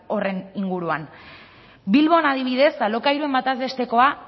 horren inguruan bilbon adibidez alokairuaren bataz bestekoa